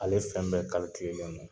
Ale fɛn bɛɛ len don